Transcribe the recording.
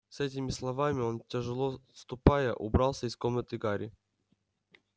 с этими словами он тяжело ступая убрался из комнаты гарри